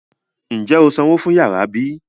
Ń jẹ́ ó sanwó fún yàrá bí?